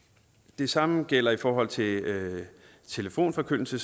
det samme gælder i forhold til telefonforkyndelse